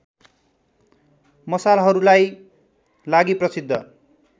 मसालहरूलाई लागि प्रसिद्ध